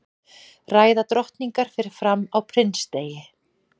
ræða drottningar fer fram á prinsdegi